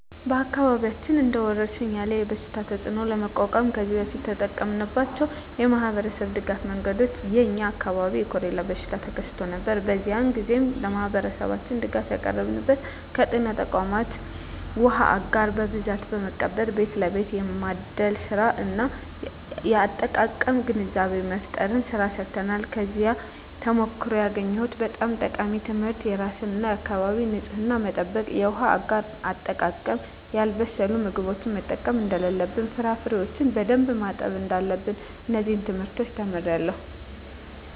በአካባቢያችን እንደ ወረርሽኝ ያለ የበሽታ ተፅእኖ ለመቋቋም ከዚህ በፊት የተጠቀምንባቸው የማኅበረሰብ ድጋፍ መንገዶች የ የኛ አካባቢ የኮሬላ በሽታ ተከስቶ ነበር። በዚያ ግዜ ለማህበረሠባችን ድጋፍ ያቀረብንበት ከጤና ተቋማት ዉሃ አጋር በብዛት በመቀበል ቤት ለቤት የማደል ስራ እና የአጠቃቀም ግንዛቤ መፍጠር ስራ ሰርተናል። ከዚያ ተሞክሮ ያገኘሁት በጣም ጠቃሚ ትምህርት የራስን እና የአካቢን ንፅህና መጠበቅ፣ የውሃ አጋር አጠቃቀም፣ ያልበሰሉ ምግቦችን መጠቀም እደለለብን፣ ፍራፍሬዎችን በደንብ ማጠብ እዳለብን። እነዚን ትምህርቶች ተምሬአለሁ።